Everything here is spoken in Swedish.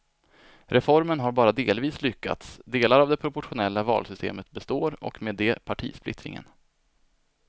Reformen har bara delvis lyckats, delar av det proportionella valsystemet består och med det partisplittringen.